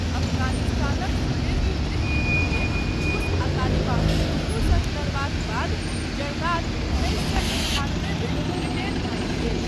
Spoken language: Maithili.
अफगानिस्तानक सुदीर्घ गृहयुद्धमे रूस आ तालिबान दुनू सङ्ग लड़बाक बाद जरदाद उन्नैस सए अन्ठान्बेमे ब्रिटेन भागि गेल।